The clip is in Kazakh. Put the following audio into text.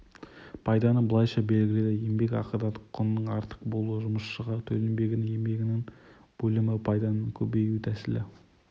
пайданы былайша белгіледі еңбек ақыдан құнның артық болуы жұмысшыға төленбеген еңбегінің бөлімі пайданың көбею тәсілі